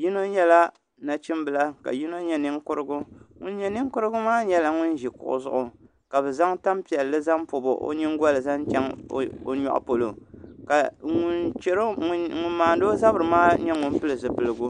yino nyɛla nachimbila ka yino nyɛ ninkurigu ŋun nyɛ ninkurigu maa nyɛla ŋun ʒi kuɣu zuɣu ka bi zaŋ tanpiɛlli n pobi o nyingoli zaŋ chɛŋ o nyoɣu polo ka ŋun maandi o zabiri maa nyɛ ŋun pili zipiligu